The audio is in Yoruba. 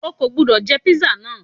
Ó ò gbọ́dọ̀ jẹ́ Písà náà